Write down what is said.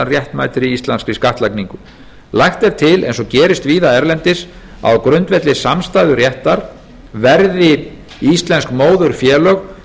réttmætri íslenskri skattlagningu lagt er til eins og gerist víða erlendis að á grundvelli samstæðuréttar verði íslensk móðurfélög